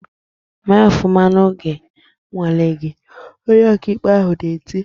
"Mee ofụma n'oge nnwale gị!" Onye ọkaikpe ahụ na-eti.